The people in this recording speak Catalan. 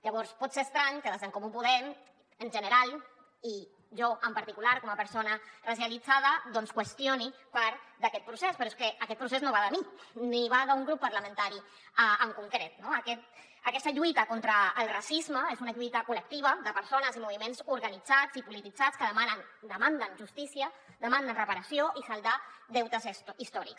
llavors pot ser estrany que des d’en comú podem en general i jo en particular com a persona racialitzada doncs qüestioni part d’aquest procés però és que aquest procés no va de mi ni va d’un grup parlamentari en concret no aquesta lluita contra el racisme és una lluita col·lectiva de persones i moviments organitzats i polititzats que demanden justícia demanden reparació i saldar deutes històrics